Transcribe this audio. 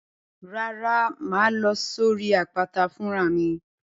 Rárá, màá lọ sórí àpáta fún ra mi.